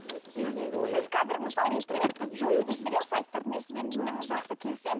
сіз қазір мысалы интернетті жою дейсіз иә сайттарды мен сізбен ііі жақсы келісемін